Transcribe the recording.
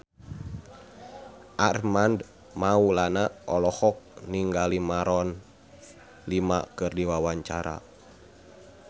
Armand Maulana olohok ningali Maroon 5 keur diwawancara